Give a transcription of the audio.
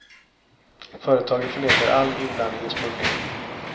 Företaget förnekar all inblandning i smugglingen.